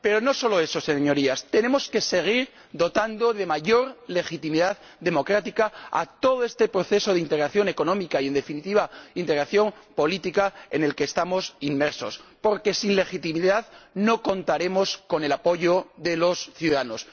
Pero no es solo eso, Señorías, tenemos que seguir dotando de mayor legitimidad democrática a todo este proceso de integración económica y, en definitiva, integración política en el que estamos inmersos, porque sin legitimidad no contaremos con el apoyo de los ciudadanos.